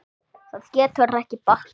Það getur ekki bakkað.